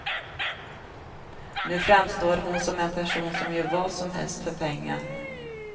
Nu framstår hon som en person som gör vad som helst för pengar.